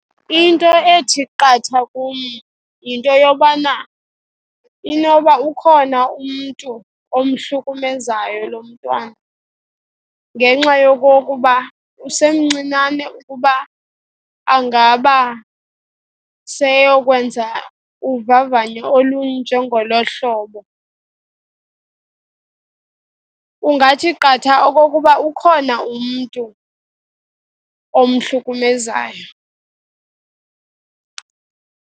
Into ethi qatha kum yinto yobana inoba ukhona umntu omhlukumezayo lo mntwana ngenxa yokokuba usemncinane ukuba angaba seyokwenza uvavanyo olunjengolo hlobo. Kungathi qatha ukuba ukhona umntu omhlukumezayo.